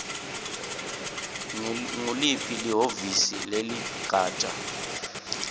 nguliphi lihhovisi leligatja